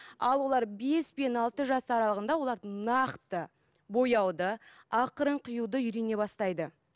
ал олар бес пен алты жас аралығында олар нақты бояуды ақырын қиюды үйрене бастайды